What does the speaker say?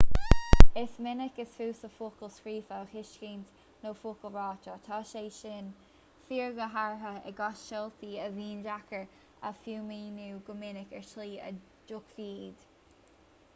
is minic is fusa focail scríofa a thuiscint ná focail ráite tá sé sin fíor go háirithe i gcás seoltaí a bhíonn deacair a fhuaimniú go minic ar shlí a dtuigfí iad